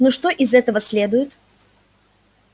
ну что из этого следует